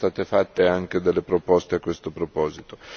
Qui sono state fatte anche delle proposte a questo proposito.